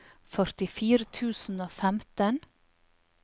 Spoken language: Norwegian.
førtifire tusen og femten